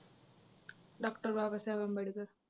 Doctor Babasaheb Ambedkar